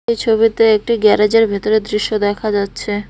এই ছবিতে একটি গ্যারেজের ভেতরের দৃশ্য দেখা যাচ্ছে।